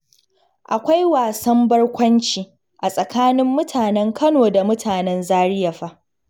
Akwai wasan barkwanci a tsakanin mutanen Kano da mutanen Zariya fa